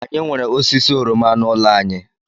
Anyị nwere osisi oroma n'ụlọ anyị